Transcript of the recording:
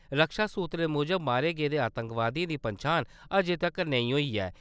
रक्षा सूत्रे मूजब मारे गेदे आतंकवादियें दी पंछान अजें तक्कर नेईं होई ऐ।